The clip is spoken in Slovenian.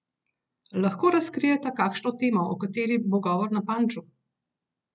Lahko razkrijeta kakšno temo, o kateri bo govor na Panču?